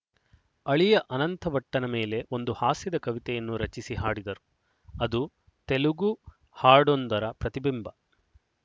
ಅಳಿಯ ಅನಂತಭಟ್ಟನ ಮೇಲೆ ಒಂದು ಹಾಸ್ಯದ ಕವಿತೆಯನ್ನು ರಚಿಸಿ ಹಾಡಿದರು ಅದು ತೆಲುಗು ಹಾಡೊಂದರ ಪ್ರತಿಬಿಂಬ